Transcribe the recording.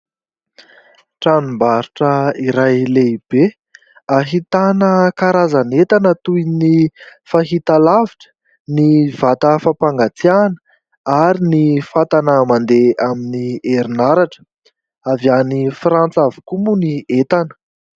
Tranomabrotra iray lehibe ahitana karazan'entana toy ny fahitalavitra, ny vata fampangatsiahana ary ny fatana mandeha amin'ny herinaratra. Avy any Frantsa avokoa moa ny entana.